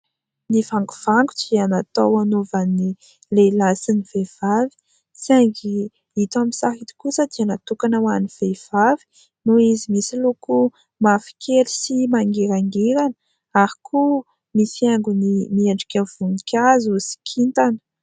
Ny vangovango dia natao anaovan'ny lehilahy sy ny vehivavy saingy ito amin'ny sary ito kosa dia natokana ho an'ny vehivavy noho izy misy loko mavokely sy mangirangirana ary koa misy haingony miendrika voninkazo sy kintana.